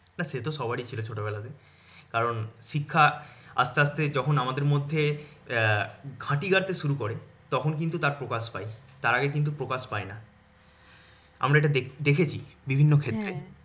না সে তো সবারই ছিল ছোট বেলাতে। কারণ শিক্ষা আসতে আসতে যখন আমাদের মধ্যে আহ ঘাঁটি গাঁড়তে শুরু করে তখন কিন্তু টা প্রকাশ পায়। তার আগে কিন্তু প্রকাশ পায়না। আমরা এটা দেখেছি বিভিন্ন ক্ষেত্রে।